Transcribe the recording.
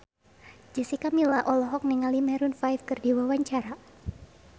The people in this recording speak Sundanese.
Jessica Milla olohok ningali Maroon 5 keur diwawancara